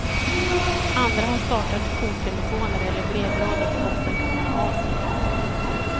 Andra har startat jourtelefoner eller brevlådor där offren kan höra av sig.